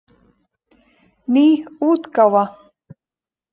Ný útgáfa.